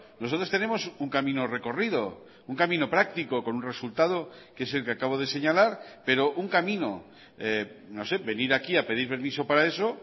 nosotros tenemos un camino recorrido un camino práctico con un resultado que es el que acabo de señalar pero un camino no sé venir aquí a pedir permiso para eso